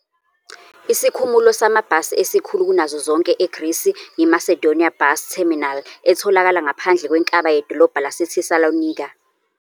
Isikhumulo samabhasi esikhulu kunazo zonke eGrisi yiMasedonia Bus Terminal etholakala ngaphandle kwenkaba yedolobha laseThesaloniki.